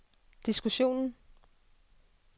diskussionen